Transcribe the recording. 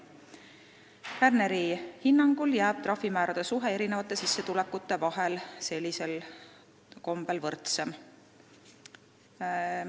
Kärneri hinnangul on trahvimäärade suhe erinevatesse sissetulekutesse sellisel kombel võrdsem.